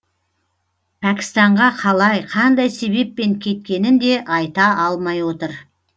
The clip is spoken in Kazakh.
пәкістанға қалай қандай себеппен кеткенін де айта алмай отыр